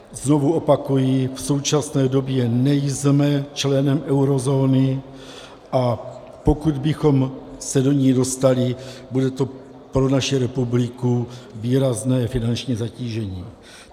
Znovu opakuji, v současné době nejsme členem eurozóny, a pokud bychom se do ní dostali, bude to pro naši republiku výrazné finanční zatížení.